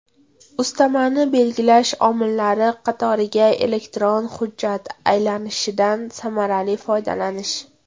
Ustamani belgilash omillari qatoriga elektron hujjat aylanishidan samarali foydalanish.